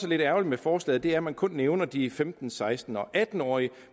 lidt ærgerligt med forslaget er at man kun nævner de femten seksten og atten årige